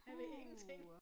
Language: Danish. Puha